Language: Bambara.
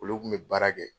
Olu kun bɛ baara kɛ